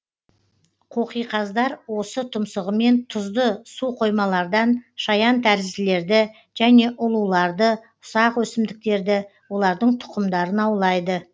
қоқиқаздар осы тұмсығымен тұзды суқоймалардан шаянтәрізділерді және ұлуларды ұсақ өсімдіктерді олардың тұқымдарын аулайды